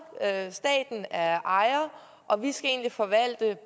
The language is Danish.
staten er ejer og vi skal egentlig forvalte